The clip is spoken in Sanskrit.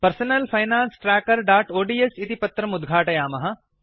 पर्सनल फाइनान्स trackerओड्स् इति पत्रम् उद्घाटयामः